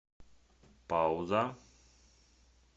пауза